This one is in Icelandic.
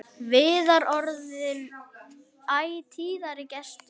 Viðar orðinn æ tíðari gestur.